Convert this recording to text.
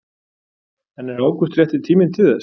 En er ágúst rétti tíminn til þess?